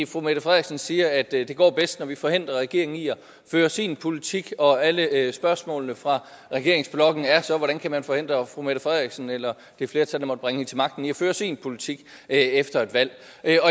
fru mette frederiksen siger at det går bedst når vi forhindrer regeringen i at føre sin politik og alle alle spørgsmålene fra regeringsblokken er så hvordan kan man forhindre fru mette frederiksen eller det flertal der måtte bringe hende til magten i at føre sin politik efter et valg